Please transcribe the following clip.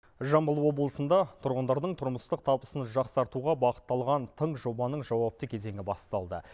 жамбыл облысында тұрғындардың тұрмыстық табысын жақсартуға бағытталған тың жобаның жауапты кезеңі басталды